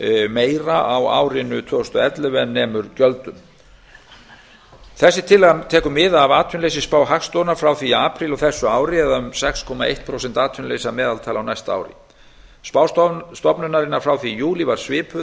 meira á árinu tvö þúsund og ellefu en nemur gjöldum þessi tillaga tekur mið af atvinnuleysisspá hagstofunnar frá í apríl á þessu ári sex komma eitt prósent atvinnuleysi að meðaltali á næsta ári spá stofnunarinnar frá því í júlí var svipuð